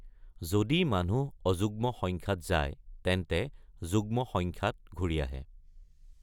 যদি মানুহ অযুগ্ম সংখ্যাত যায়, তেন্তে যুগ্ম সংখ্যাত ঘূৰি আহে।